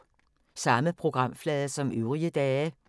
Samme programflade som øvrige dage